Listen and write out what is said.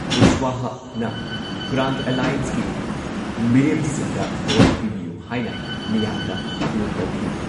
ꯀꯨꯁꯋꯥꯍꯥꯅ grand ꯑꯦꯜꯂꯥꯏꯌꯦꯟꯁꯀꯤ ꯃꯤꯔꯦꯞꯁꯤꯡꯗ vote ꯄꯤꯕꯤꯌꯨ ꯍꯥꯏꯅ ꯃꯤꯌꯥꯝꯗ ꯑꯥꯄꯤꯜ ꯇꯧꯈꯤ ꯫